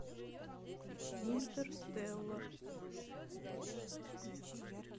интерстеллар